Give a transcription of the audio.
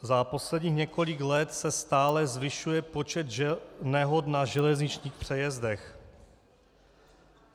Za posledních několik let se stále zvyšuje počet nehod na železničních přejezdech.